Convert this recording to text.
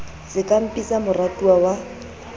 se ka mpitsa moratuwa wa